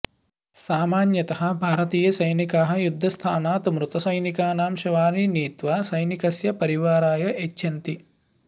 सामान्यतः भारतीयसैनिकाः युद्धस्थानात् मृतसैनिकानां शवानि नीत्वा सैनिकस्य परिवाराय यच्छन्ति